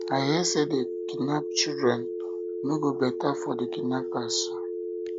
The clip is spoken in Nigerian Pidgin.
i hear say dey um kidnap some children e no go um better for the um kidnappers